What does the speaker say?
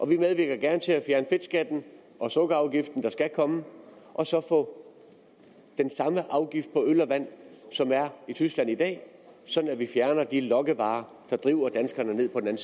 vi medvirker gerne til at fjerne fedtskatten og sukkerafgiften der skal komme og så få den samme afgift på øl og vand som der er i tyskland i dag sådan at vi fjerner de lokkevarer der driver danskerne ned på den